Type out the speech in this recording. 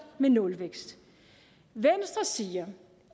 med nulvækst venstre siger